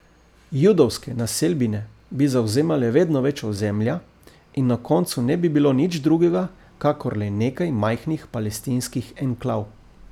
Judovske naselbine bi zavzemale vedno več ozemlja in na koncu ne bi bilo nič drugega kakor le nekaj majhnih palestinskih enklav.